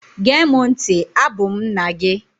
Gee mụ ntị! Abụ m nna gị!